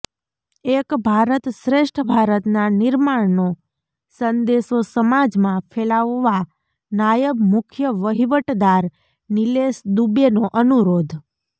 એક ભારત શ્રેષ્ઠ ભારતનાં નિર્માણનો સંદેશો સમાજમાં ફેલાવવા નાયબ મુખ્ય વહીવટદાર નિલેશ દુબેનો અનુરોધ